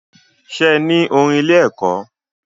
Ṣe ní orin ilé ẹ̀kọ́?